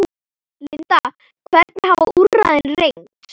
Linda, hvernig hafa úrræðin reynst?